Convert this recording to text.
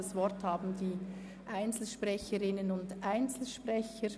Das Wort haben die Einzelsprecherinnen und Einzelsprecher.